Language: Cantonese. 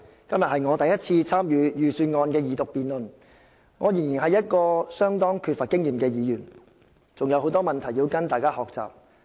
今天是我第一次參與財政預算案二讀辯論，我仍然是一位相當缺乏經驗的議員，還有很多事情要跟大家學習。